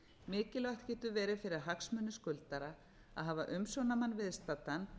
mikilvægt getur verið fyrir hagsmuni skuldara að hafa umsjónarmann viðstaddan